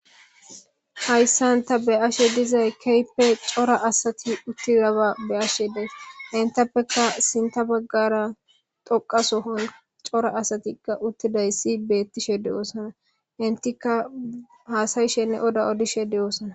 hayssan ta be'ashe dizay keype cora asati uttiraba be'ashe dees intappekka sinta baggara doqasohon cora asatikka uttiday si beettishe de7oosana intika haasayishenne oda odishe de7oosana